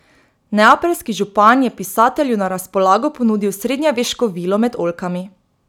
Neapeljski župan je pisatelju na razpolago ponudil srednjeveško vilo med oljkami.